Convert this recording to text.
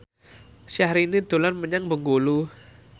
Syahrini dolan menyang Bengkulu